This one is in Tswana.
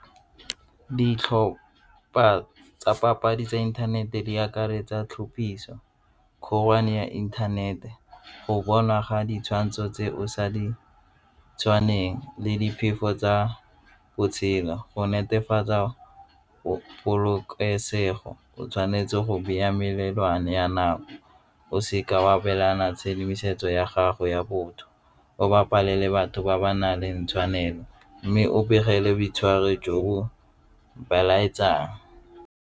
Ditlhopa tsa papadi tsa inthanete di akaretsa tlhophisa ya inthanete, go bonwa ga ditshwantsho tse o sa ditshwanelo le diphefo tsa botshelo. Go netefatsa o polokesego o tshwanetse go melelwane ya nako o se ka wa abelana tshedimosetso ya gago ya botho o ba palelwe batho ba ba nang le ntsha tshwanelo mme o begele boitshwaro jo bo belaetsang.